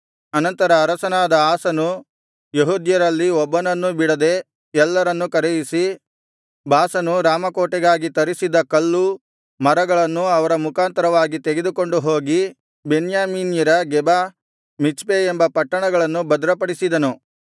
ಅನಂತರ ಅರಸನಾದ ಆಸನು ಯೆಹೂದ್ಯರಲ್ಲಿ ಒಬ್ಬನನ್ನೂ ಬಿಡದೆ ಎಲ್ಲರನ್ನೂ ಕರೆಯಿಸಿ ಬಾಷನು ರಾಮಕೋಟೆಗಾಗಿ ತರಿಸಿದ್ದ ಕಲ್ಲು ಮರಗಳನ್ನು ಅವರ ಮುಖಾಂತರವಾಗಿ ತೆಗೆದುಕೊಂಡು ಹೋಗಿ ಬೆನ್ಯಾಮೀನ್ಯರ ಗೆಬ ಮಿಚ್ಪೆ ಎಂಬ ಪಟ್ಟಣಗಳನ್ನು ಭದ್ರಪಡಿಸಿದನು